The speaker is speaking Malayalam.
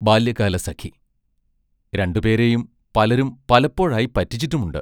ബാല്യകാലസഖി രണ്ടുപേരെയും പലരും പലപ്പോഴായി പറ്റിച്ചിട്ടുമുണ്ട്.